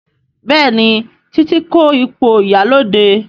Béèni Titi ko ipo ìyálóde.